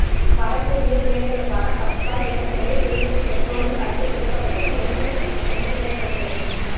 வரக்கூடிய தேர்தலுக்கான கப்சா ஏற்கனவே கேசும் பெற்றோலும் கண்டு பிடிக்கப்பட்டது எங்கே பெண்டிங்ல கிடக்கிறது